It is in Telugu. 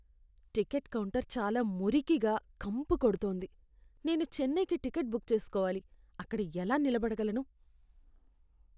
టికెట్ కౌంటర్ చాలా మురికిగా, కంపుకొడుతోంది. నేను చెన్నైకి టికెట్ బుక్ చేసుకోవాలి, అక్కడ ఎలా నిలబడగలను?